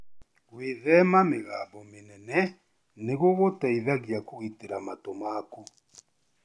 Gwĩthema mĩgambo mĩnene nĩ gũgũteithagia kũgitĩra matũ maku.